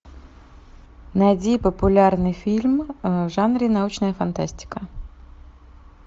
найди популярный фильм в жанре научная фантастика